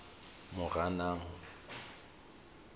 moranang